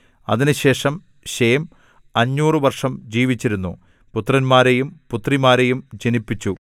അതിനുശേഷം ശേം അഞ്ഞൂറ് വർഷം ജീവിച്ചിരുന്നു പുത്രന്മാരെയും പുത്രിമാരെയും ജനിപ്പിച്ചു